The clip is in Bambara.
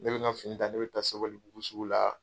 Ne kɛlen ka fini ta , ne taara sabalibugu sugu la.